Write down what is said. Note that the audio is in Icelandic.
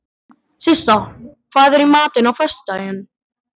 Sissa, hvað er í matinn á föstudaginn?